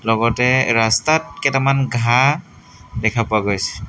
লগতে ৰাস্তাত কেইটামান ঘাঁহ দেখা পোৱা গৈছে।